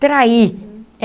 Traí.